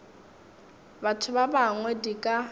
batho ba bangwe di ka